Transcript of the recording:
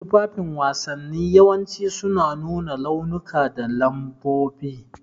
Tufafin wasanni yawanci suna nuna launuka da lambobi.